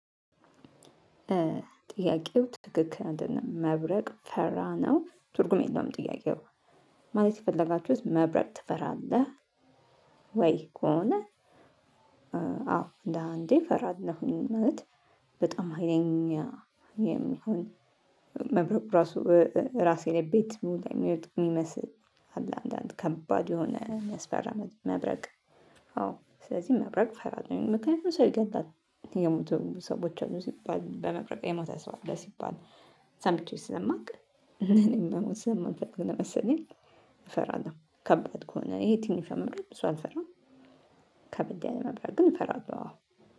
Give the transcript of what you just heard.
ጥያቄው ትክክል አይደለም። መብረቅ ፈራ ነው? ትርጉም የለውም ጥያቄው ማለት የፈለጋችሁት መብረቅ ትፈራለህ ወይ ከሆነ አዎ፤ እንደ አንዴ እፈራለሁኝ። ማለት በጣም ሀይለኛ የሚሆን መብረቅ ራሱ ራሴ ላይ ቤት ላይ የሚወድቅ የሚመስል አለ አንዳንድ ከባድ የሆነ የሚያስፈራ መብረቅ አዎ ስለዚህ መብረቅ እፈራለሁኝ። ምክንያቱም ሰው ይገድላል የሞቱ ሰዎች አሉ ሲባል በመብረቅ የሞተ ሰው አለ ሲባል ሰምቼ ስለማውቅ እኔም መሞት ስለማልፈልግ ነው መሰለኝ እፈራለሁ። ከባድ ከሆነ ይሄ ትንሽ መብረቅ ብዙ አልፈራም። ከበድ ያለ መብረቅ ግን እፈራለሁ።